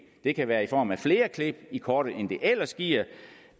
det kan være i form af flere klip i kortet end det ellers giver